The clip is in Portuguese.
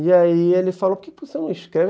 E aí ele falou, por que você não escreve?